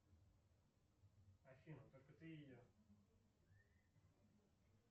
афина только ты и я